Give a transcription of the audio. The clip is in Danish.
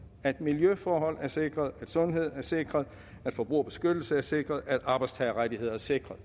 at miljøforhold er sikret at sundhed er sikret at forbrugerbeskyttelse er sikret at arbejdstagerrettigheder er sikret